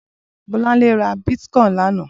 Bolanle rà bitkòin lànã